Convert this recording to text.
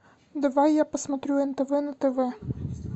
давай я посмотрю нтв на тв